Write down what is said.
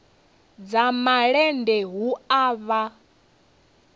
dza malende hu a vha